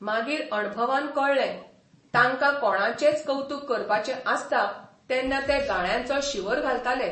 मागीर अणभवान कळ्ळे, तांकां कोणाचेंय कवतूक करपाचें आसता तेन्ना ते गाळ्यांचो शिंवर घालताले.